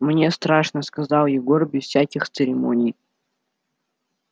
мне страшно сказал егор без всяких церемоний